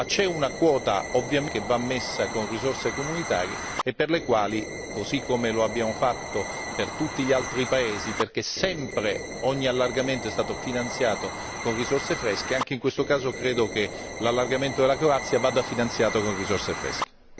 Ma c'è una quota che va messa con risorse comunitarie e per le quali, così come lo abbiamo fatto per tutti gli altri paesi, perché sempre ogni allargamento è stato finanziato con risorse fresche, anche in questo caso credo che l'allargamento con la Croazia vada finanziato con risorse fresche.